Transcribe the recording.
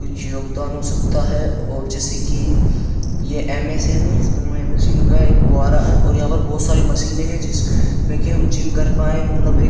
कोई योगदान हो सकता है और जैसे कि ये एमएस है नहीं इसमें महेंद्र सिंह का एक बुवारा है और यहां पर बहुत सारी मशीनें हैं जिस में कि हम जिम कर पाए मतलब एक --